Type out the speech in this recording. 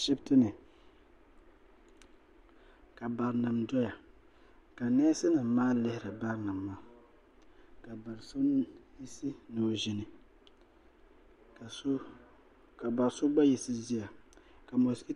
ashiptini ka barinima doya ka neesi nima maa lihiri barinima maa ka do'so yiɣisi ni o ʒini ka bariso gba yiɣisi ʒiya.